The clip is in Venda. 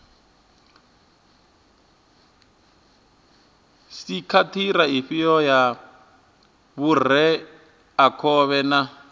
sekhithara ifhio ya vhureakhovhe na